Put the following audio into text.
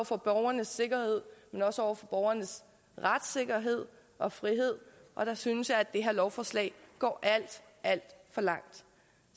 for borgernes sikkerhed men også over for borgernes retssikkerhed og frihed og der synes jeg at det her lovforslag går alt alt for langt